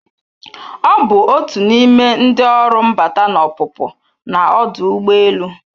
Ọ bụ otu n'ime ndị ọrụ mbata na ọpụpụ na ọdụ ụgbọelu.